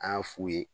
An y'a f'u ye